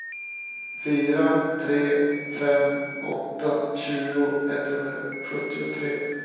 fyra tre fem åtta tjugo etthundrasjuttiotre